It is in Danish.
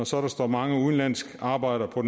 så står mange udenlandske arbejdere på